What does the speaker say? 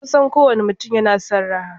Kusan kowane mutum yana son raha.